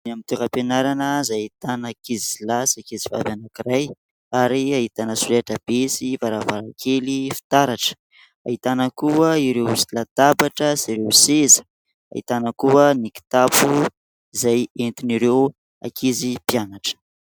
Any amin'ny toeram-pianarana izay ahitana ankizilahy sy ankizivavy anankiray ary ahitana solaitrabe sy varavarankely fitaratra ; ahitana koa ireo latabatra sy ireo seza, ahitana koa ny kitapo izay entin'ireo ankizy mpianatra.